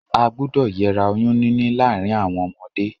A gbúdọ̀ yera oyún níní láàrin àwon ọmọdé